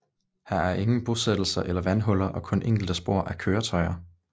Her er ingen bostættelser eller vandhuller og kun enkelte spor af køretøjer